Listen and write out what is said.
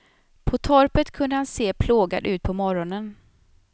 På torpet kunde han se plågad ut på morronen.